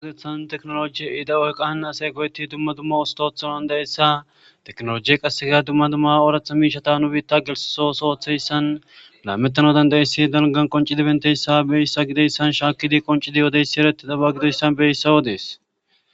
Uzethan teknolojie ida oyqan asey goyetti dumma dumma ustootha dandayessa teknolojie qassega dumma dumma ooratha miishata nu biitta gelososooththeyssan laametano dandayessi dalgan qonci dibenteyssa beyyssa gideyssan shaakkidi qonci di yodeysi ereti daba gidoyssan beeissa wodees.